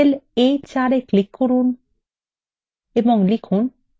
cell a4এ click করুন এবং লিখুন sum